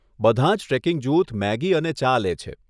બધાં જ ટ્રેકિંગ જૂથ મેગી અને ચા લે છે.